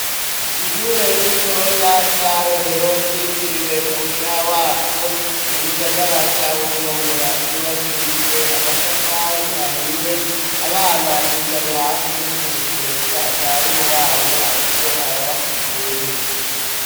Ishure rito rya Rohero ryitiriwe umushaha wacu mu gisagara ca Bujumbura ryubakishijwe amatafari ahiye abana bicaye hasi ku mikeka mwarimu wabo ariko arabasigurira.